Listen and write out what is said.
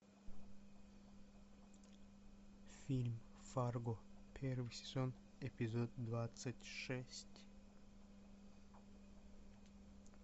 фильм фарго первый сезон эпизод двадцать шесть